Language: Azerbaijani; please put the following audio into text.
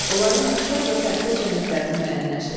Onların oxşar və fərqli cəhətlərini müəyyənləşdirdin.